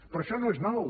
però això no és nou